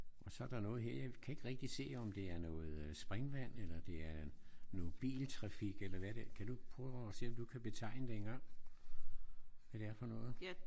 Og så er der noget her. Jeg kan ikke rigtig se om det er noget øh springvand eller det er noget biltrafik eller hvad det er. Kan du prøve at se om du kan betegne det en gang? Hvad det er for noget?